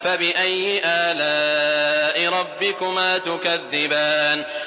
فَبِأَيِّ آلَاءِ رَبِّكُمَا تُكَذِّبَانِ